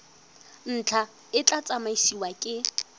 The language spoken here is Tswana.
ntlha e tla tsamaisiwa ke